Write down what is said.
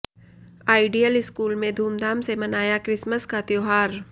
ideal school में धूमधाम से मनाया क्रिसमस का त्यौहार